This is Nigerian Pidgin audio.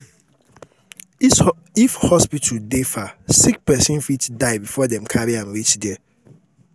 if hospital dey far sick pesin fit die before dem carry am reach there